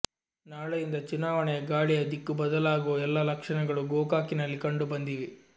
ನಾಳೆಯಿಂದ ಚುನಾವಣೆಯ ಗಾಳಿಯ ದಿಕ್ಕು ಬದಲಾಗುವ ಎಲ್ಲ ಲಕ್ಷಣಗಳು ಗೋಕಾಕಿನಲ್ಲಿ ಕಂಡು ಬಂದಿವೆ